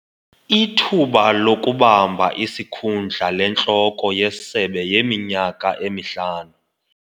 Ithuba lokubamba isikhundla lentloko yesebe yiminyaka emihlanu.